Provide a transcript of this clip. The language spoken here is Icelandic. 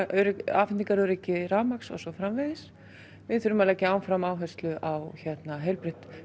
afhendingaröryggi rafmagns og svo framvegis við þurfum að leggja áfram áherslu á heilbrigt